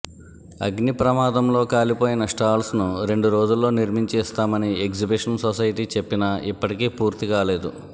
అగ్నిప్రమాదంలో కాలిపోయిన స్టాల్స్ ను రెండు రోజుల్లో నిర్మించి ఇస్తామని ఎగ్జిబిషన్ సొసైటీ చెప్పినా ఇప్పటికీ పూర్తికాలేదు